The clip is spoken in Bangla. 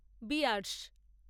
বিয়ার্স